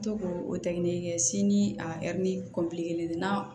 To k'o o tɛkinin kɛ sini a ni kelen na